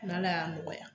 N'ala y'a nɔgɔya